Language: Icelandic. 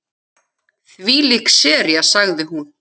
Þvílík sería sagði hún.